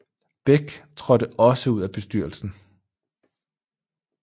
Beck traadte også ud af bestyrelsen